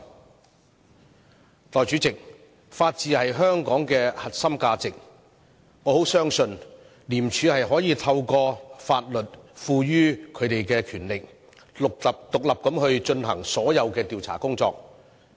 代理主席，法治是香港的核心價值，我十分相信廉署可透過法律賦予它的權力，獨立進行所有調查工作。